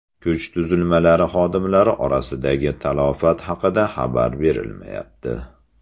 Kuch tuzilmalari xodimlari orasidagi talafot haqida xabar berilmayapti.